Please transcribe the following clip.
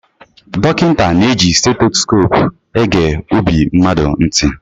Dọkịta na-eji seitosope ege ọbi mmadụ ntị.